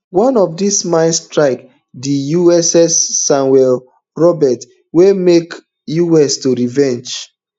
one of dis mines strike di uss samuel b roberts wey make us military to revenge